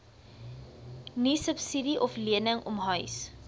niesubsidie oflening omhuis